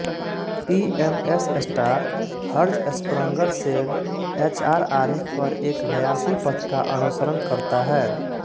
PMS star Hertzsprung Russell HR आरेख पर एक हयाशी पथ का अनुसरण करता है